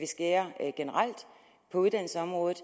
skærer ned på uddannelsesområdet